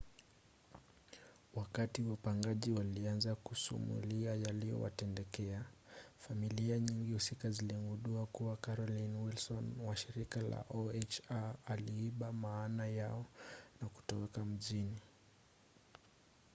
wakati wapangaji walianza kusumulia yaliyowatendekea familia nyingi husika ziligundua kuwa carolyn wilson wa shirika la oha aliiba amana yao na kutoweka mjini